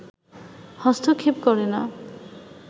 হস্তক্ষেপ করে না